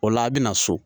O la a bɛna so